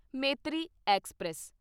Maitri express